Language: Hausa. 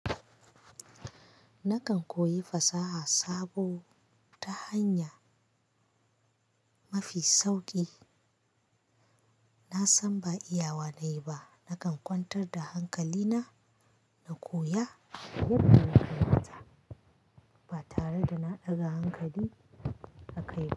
Nakan koyi fasaha sabo ta hanya mafi sauƙi. Na san ba iya wa na yi ba, nakan kwantar da hankali na, na koya duk wata ba tare da na ɗaga hankali aka yi ba.